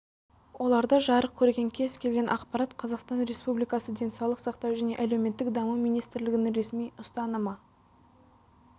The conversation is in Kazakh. оларда жарық көрген кез келген ақпарат қазақстан республикасы денсаулық сақтау және әлеуметтік даму министрлігінің ресми ұстанымы